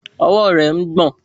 Ọwọ́ rẹ̀ ń gbọ̀n